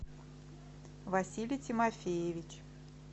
василий тимофеевич